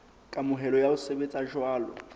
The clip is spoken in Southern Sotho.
kamohelo ya ho sebetsa jwalo